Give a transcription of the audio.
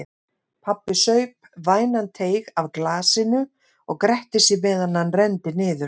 Pabbi saup vænan teyg af glasinu og gretti sig meðan hann renndi niður.